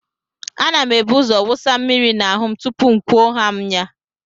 A na m ebuzo wụsa mmiri n'ahụ m tupuu m kwuo haa m ya.